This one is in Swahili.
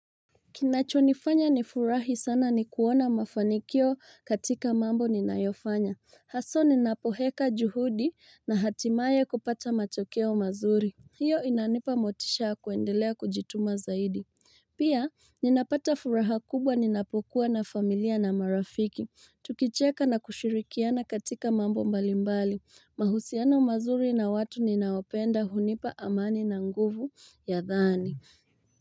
Kinachonifanya nifurahi sana ni kuona mafanikio katika mambo ninayofanya. Haswa ninapoeka juhudi na hatimaye kupata matokeo mazuri. Hiyo inanipa motisha ya kuendelea kujituma zaidi. Pia ninapata furaha kubwa ninapokuwa na familia na marafiki. Tukicheka na kushirikiana katika mambo mbalimbali. Mahusiano mazuri na watu ninaopenda hunipa amani na nguvu ya dhani.